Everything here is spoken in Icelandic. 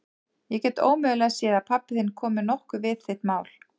Ég get ómögulega séð að pabbi þinn komi nokkuð við þitt mál.